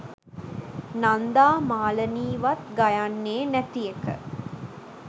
නන්දා මාලනී වත් ගයන්නෙ නැති එක.